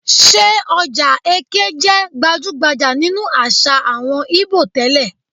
Ṣé ọjà Eké jẹ́ gbajú-gbajà nínú àṣà àwọn Íbò tẹ́lẹ̀?